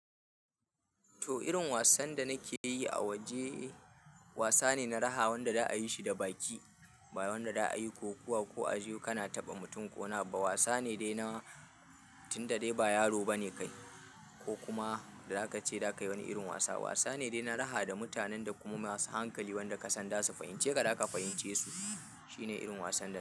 To irin wasan da nake yi a waje wasa ne na raha wanda da a yi shi da baki ba wanda da a yi kokawa ko a jiyo kana taɓa mutum ƙo wani abu bawasa ne dai na tun da dai ba yaro ba ne kai ko kuma da za ka ce za ka yi wani irin wasa. Wasa ne dai na raha da mutanen da kuma masu hankali wanda ka san za su fahimce ka, da za ka fahimce su. Shi ne irin wasan da nake yi.